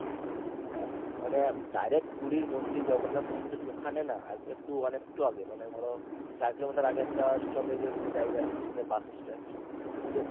মানে direct পুরি মন্দির জগন্নাথ মন্দির ওখানে না একটু মানে একটু আগে মানে ধরো চার কিলোমিটার আগে একটা stoppage এর মতো জায়গা আছে বাস stand সেখানে গিয়ে